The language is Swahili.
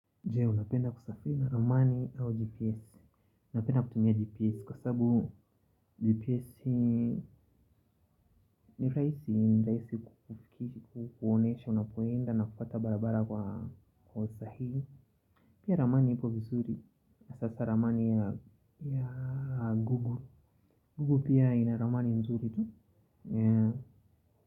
Jee, unapenda kusafiri na ramani au GPS, napenda kutumia GPS kwa sabu GPS ni rahiisi, ni rahiisi kufikishi, kuonesha, unapoenda na kufuata barabara kwa usahihi. Pia ramani ipo vizuri, sasa ramani ya gugu, gugu pia ina ramani mzuri tu.